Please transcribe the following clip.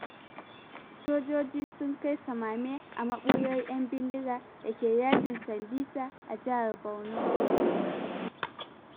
Sojoji sun kai samame a maɓuyar 'yan bindiga da ke dajin Sambisa a Jihar Borno.